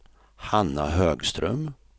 Hanna Högström